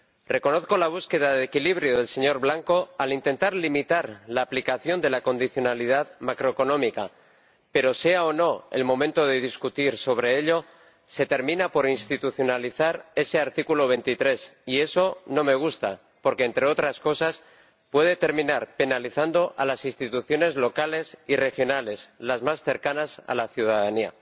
Reconozco la búsqueda de equilibrio del señor Blanco al intentar limitar la aplicación de la condicionalidad macroeconómica, pero, sea o no el momento de discutir sobre ello, se termina por institucionalizar ese artículo 23, y eso no me gusta porque, entre otras cosas, puede terminar penalizando a las instituciones locales y regionales, las más cercanas a la ciudadanía.